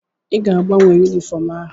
Ị ga-agbanwe yunifọọm ahụ.